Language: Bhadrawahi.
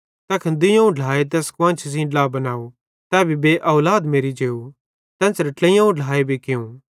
तैखन दुइयोवं ढ्लाए तैस कुआन्शी सेइं ड्ला बनाव तै भी बेऔलाद मेरि जेव तेन्च़रां ट्लेइयोवं ढ्लाए भी कियूं